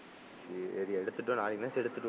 சரி எடுத்துட்டு வா நாளைக்னாச்சு எடுத்துட்டு வா.